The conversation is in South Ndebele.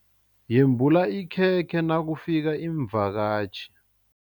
Yembula ikhekhe nakufika iimvakatjhi.